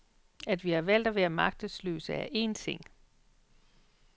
At vi har valgt at være magtesløse er en ting.